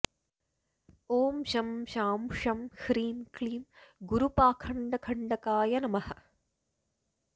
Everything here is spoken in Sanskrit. ॐ शं शां षं ह्रीं क्लीं गुरुपाखण्डखण्डकाय नमः